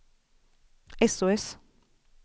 sos